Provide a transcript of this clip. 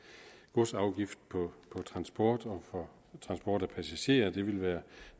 godsafgift på transport og transport af passagerer ville være